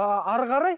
ы әрі қарай